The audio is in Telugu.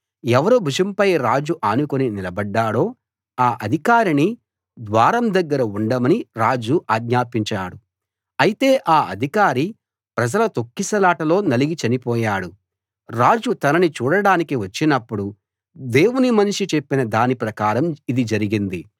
ఎవరి భుజంపై రాజు ఆనుకుని నిలబడ్డాడో ఆ అధికారిని ద్వారం దగ్గర ఉండమని రాజు ఆజ్ఞాపించాడు అయితే ఆ అధికారి ప్రజల తొక్కిసలాటలో నలిగి చనిపోయాడు రాజు తనని చూడడానికి వచ్చినప్పుడు దేవుని మనిషి చెప్పిన దాని ప్రకారం ఇది జరిగింది